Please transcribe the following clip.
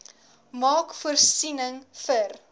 maak voorsiening vir